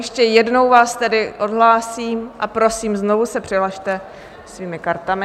Ještě jednou vás tedy odhlásím a prosím, znovu se přihlaste svými kartami.